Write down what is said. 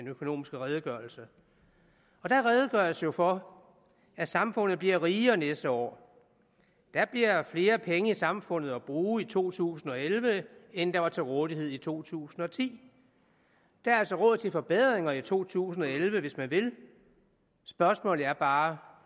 økonomiske redegørelse og der redegøres for at samfundet bliver rigere næste år der bliver flere penge i samfundet at bruge i to tusind og elleve end der var til rådighed i to tusind og ti der er altså råd til forbedringer i to tusind og elleve hvis man vil spørgsmålet er bare